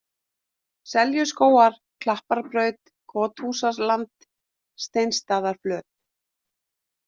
Seljuskógar, Klapparbraut, Kothúsaland, Steinsstaðaflöt